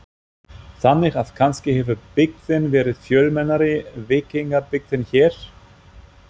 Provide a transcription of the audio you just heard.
Þannig að kannski hefur byggðin verið fjölmennari, víkingabyggðin hér?